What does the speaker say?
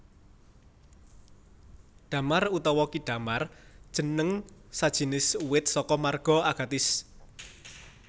Damar utawa ki damar jeneng sajinis uwit saka marga Agathis